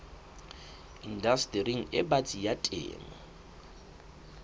indastering e batsi ya temo